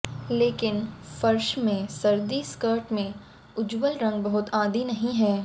लेकिन फर्श में सर्दी स्कर्ट में उज्ज्वल रंग बहुत आदी नहीं हैं